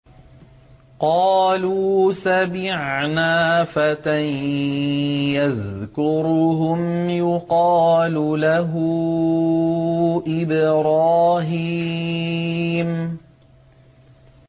قَالُوا سَمِعْنَا فَتًى يَذْكُرُهُمْ يُقَالُ لَهُ إِبْرَاهِيمُ